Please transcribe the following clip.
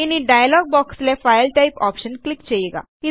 ഇനി ഡയ്ലോഗ് ബോക്സിലെ file type option click ചെയ്യുക